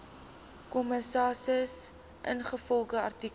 kommissaris ingevolge artikel